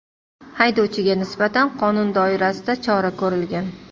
Haydovchiga nisbatan qonun doirasida chora ko‘rilgan.